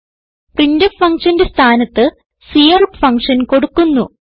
printf ഫങ്ഷന്റെ സ്ഥാനത്ത് cout function കൊടുക്കുന്നു